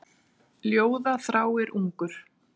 Ljóða þráir ungur.